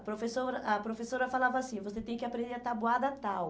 A professora a professora falava assim, você tem que aprender a tabuada tal.